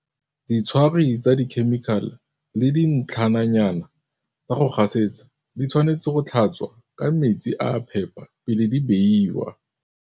Ditshwari tsa dikhemikale le dintlhananyana tsa go gasetsa di tshwanetse go tlhatswa ka metsi a a phepa pele di beiwa.